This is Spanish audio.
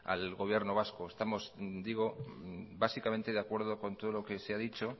al gobierno vasco estamos digo básicamente de acuerdo con todo lo que se ha dicho